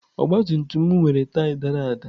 Ọgabtumtum m nwere taya dara ada.